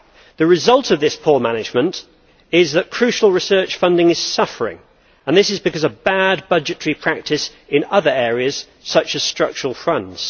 The result of this poor management is that crucial research funding is suffering and this is because of bad budgetary practice in other areas such as structural funds.